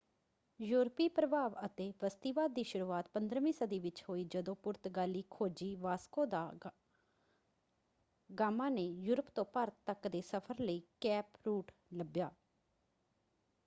ਯੂਰਪੀ ਪ੍ਰਭਾਵ ਅਤੇ ਬਸਤੀਵਾਦ ਦੀ ਸ਼ੁਰੂਆਤ 15ਵੀਂ ਸਦੀ ਵਿੱਚ ਹੋਈ ਜਦੋਂ ਪੁਰਤਗਾਲੀ ਖੋਜੀ ਵਾਸਕੋ ਦਾ ਗਾਮਾ ਨੇ ਯੂਰਪ ਤੋਂ ਭਾਰਤ ਤੱਕ ਦੇ ਸਫ਼ਰ ਲਈ ਕੇਪ ਰੂਟ ਲੱਭਿਆ।